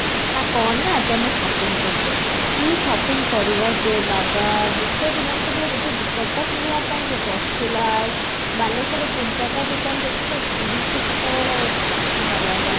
ନା କଣ ନା ଆଜି ଆମେ shopping କରୁଚେ କି shopping କରିବେ ଯେ ବାବା ଗୋଟେ ଦିନ ରେ କେବଳ ଗୋଟେ ଦୁପଟା କିଣିବା ପାଇଁ ସେ ବରଚୁଲାଲ ବାଲେଶ୍ବର ର ତିନି ଚାରିଟା ଦୋକାନ ଯେତିକି ଘୂରିଚେ ସେତେବେଳେ ବାବା ରେ ବାବା